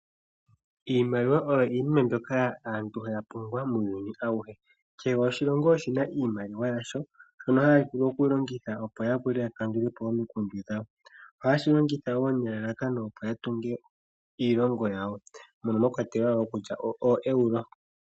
Iimaliwa oyo iinima mbyoka aantu haya pungula muuyuni awuhe. Kehe oshilongo oshina iimaliwa yasho mbyoka hayi longithwa okukandula po omikundu. Ohayi longithwa woo okutunga iilongo.